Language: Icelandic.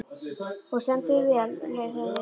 Þú stendur þig vel, Laugheiður!